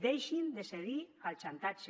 deixin de cedir al xantatge